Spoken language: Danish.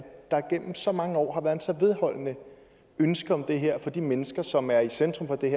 der gennem så mange år har været et så vedholdende ønske om det her fra de mennesker som er centrum for det